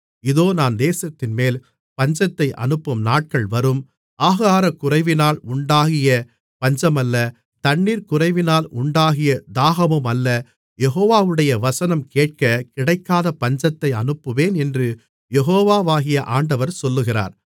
இதோ நான் தேசத்தின்மேல் பஞ்சத்தை அனுப்பும் நாட்கள் வரும் ஆகாரக்குறைவினால் உண்டாகிய பஞ்சமல்ல தண்ணீர்குறைவினால் உண்டாகிய தாகமுமல்ல யெகோவாவுடைய வசனம் கேட்கக் கிடைக்காத பஞ்சத்தை அனுப்புவேன் என்று யெகோவாகிய ஆண்டவர் சொல்லுகிறார்